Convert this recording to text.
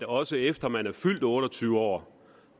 også efter man er fyldt otte og tyve år